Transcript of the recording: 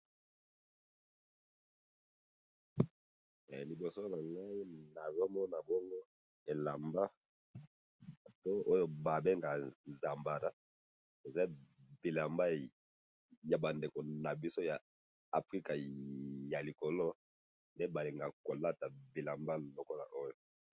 Na moni bilamba ba bengi Zambala, batu ya Africa ya likolo nde balingaka kolata yango.